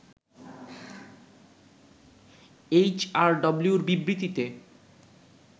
এইচআরডব্লিউর বিবৃতিতে